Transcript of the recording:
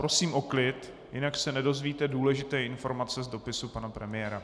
Prosím o klid, jinak se nedozvíte důležité informace z dopisu pana premiéra.